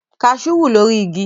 Kaṣú wù lórí igi